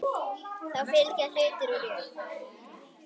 Þá fylgja hlutir úr jörðum.